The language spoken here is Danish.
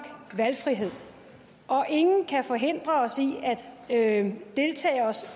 valgfrihed og ingen kan forhindre os i at